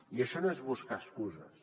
i això no és buscar excuses